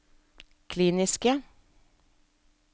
kliniske